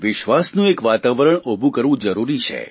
વિશ્વાસમનું એક વાતાવરણ ઉભું કરવું જરૂરી છે